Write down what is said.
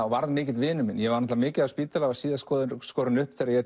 varð mikill vinur minn ég var mikið á spítala og var síðast skorinn upp þegar ég